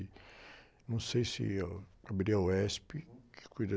Não sei se é o, que cuida...